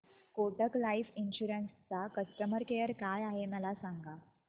Kotak life insurance चा customer care काय आहे मला सांगा